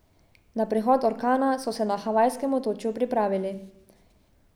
Na prihod orkana so se na Havajskem otočju pripravili.